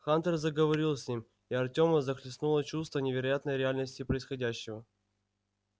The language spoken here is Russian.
хантер заговорил с ним и артёма захлестнуло чувство невероятной реальности происходящего